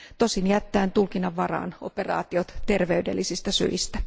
tosin jättäen tulkinnan varaan operaatiot terveydellisistä syistä.